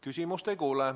Halloo!